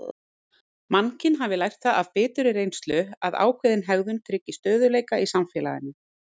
Mannkyn hafi lært það af biturri reynslu að ákveðin hegðun tryggi stöðugleika í samfélaginu.